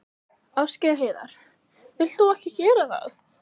Ásgeir Heiðar: Vilt þú ekki gera það?